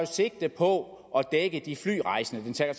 sigte på at dække de flyrejsende det tager